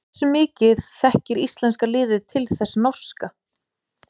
Hversu mikið þekkir íslenska liðið til þess norska?